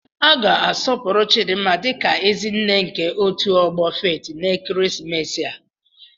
A ga-asọpụrụ Chidinma dị ka "Ezi nne" nke otu ọgbọ Faith n'ekeresimesi a."